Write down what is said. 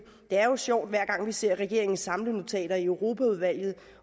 det er jo sjovt hver gang vi ser regeringens samlenotater i europaudvalget